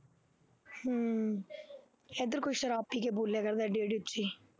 ਹੂੰ ਇੱਧਰ ਕੋਈ ਸ਼ਰਾਬ ਪੀ ਕੇ ਬੋਲਿਆ